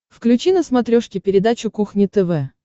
включи на смотрешке передачу кухня тв